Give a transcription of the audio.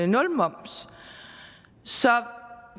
nulmoms så